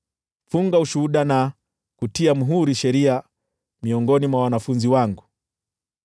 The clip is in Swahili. Funga ushuhuda na kutia muhuri sheria miongoni mwa wanafunzi wangu.